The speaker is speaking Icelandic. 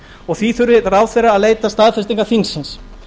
og því þurfi ráðherra að leita staðfestingar þingsins